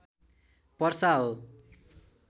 पर्सा हो